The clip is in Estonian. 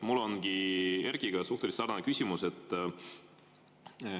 Mul ongi Erkkiga suhteliselt sarnane küsimus.